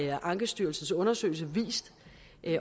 har ankestyrelsens undersøgelse vist